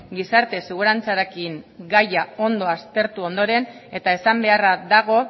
gizarte segurantzarekin gaia ondo aztertu ondoren eta esan beharra dago